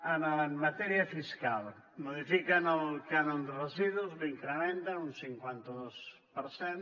en matèria fiscal modifiquen el cànon de residus l’incrementen un cinquanta dos per cent